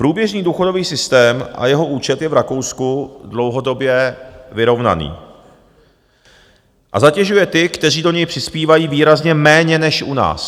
Průběžný důchodový systém a jeho účet je v Rakousku dlouhodobě vyrovnaný a zatěžuje ty, kteří do něj přispívají, výrazně méně než u nás.